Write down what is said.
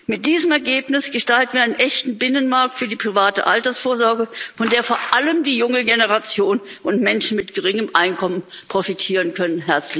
Mit diesem Ergebnis gestalten wir einen echten Binnenmarkt für die private Altersvorsorge, von der vor allem die junge Generation und Menschen mit geringem Einkommen profitieren können.